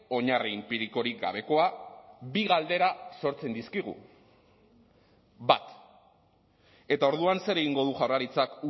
oinarri inpirikorik gabekoa bi galdera sortzen dizkigu bat eta orduan zer egingo du jaurlaritzak